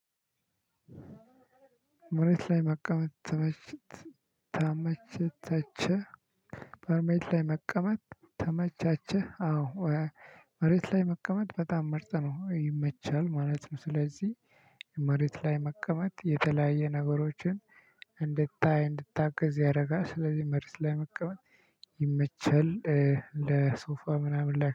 መሬት ላይ መቀመጥ ተመችተቸህ። በመሬት ላይ መቀመጥ ተመቻቸህ? አዎ መሬት ላይ መቀመጥ በጣም መርጠህ ነው ይመቻል ማለት ነው። ስለዚህ መሬት ላይ መቀመጥ የተለያየ ነገሮችን እንድታይ እንድታገዝ ያደርጋል። ስለዚህ መሬት ላይ መቀመጥ ይመቻል ለሶፋ ምናምን ላይ